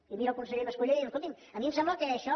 i mira el conseller mas colell i diu escolti’m a mi em sembla que això